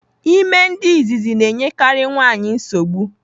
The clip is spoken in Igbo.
Ime nke izizi na-enyekari nwaanyị nsogbu.